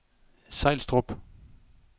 Sejlstrup